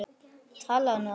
Talaðu nú ekki svona!